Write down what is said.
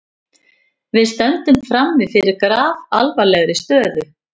Við stöndum frammi fyrir grafalvarlegri stöðu